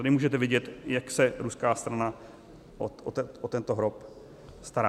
Tady můžete vidět, jak se ruská strana o tento hrob stará.